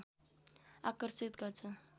आकर्षित गर्छ